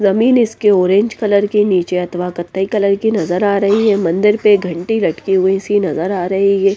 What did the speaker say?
जमीन इसके orange colour की नीचे अथवा कत्थई कलर की नजर आ रही है मंदिर पे घंटी लटकी हुई सी नजर आ रही है।